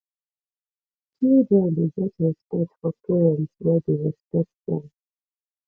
children dey get respect for parents wey dey respect dem